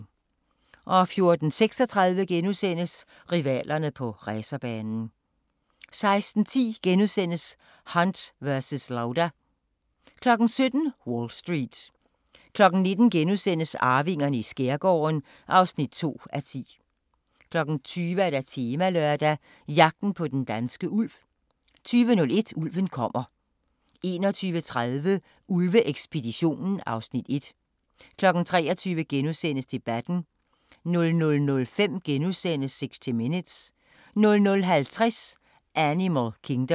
14:36: Rivalerne på racerbanen * 16:10: Hunt versus Lauda * 17:00: Wall Street 19:00: Arvingerne i skærgården (2:10)* 20:00: Temalørdag: Jagten på den danske ulv 20:01: Ulven kommer 21:30: Ulve-ekspeditionen (Afs. 1) 23:00: Debatten * 00:05: 60 Minutes * 00:50: Animal Kingdom